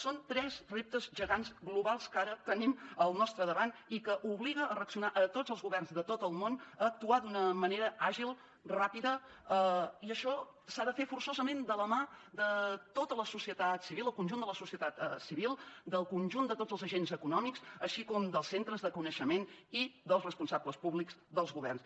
són tres reptes gegants globals que ara tenim al nostre davant i que obliga a reaccionar a tots els governs de tot el món a actuar d’una manera àgil ràpida i això s’ha de fer forçosament de la mà de tota la societat civil el conjunt de la societat civil del conjunt de tots els agents econòmics així com dels centres de coneixement i dels responsables públics dels governs